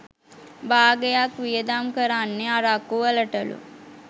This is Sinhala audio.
භාගයක්‌ වියදම් කරන්නෙ අරක්‌කු වලටලු.